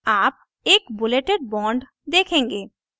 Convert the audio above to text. आप एक bulleted bond bulleted bond देखेंगे